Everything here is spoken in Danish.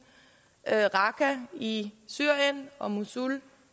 det er raqqa i syrien og mosul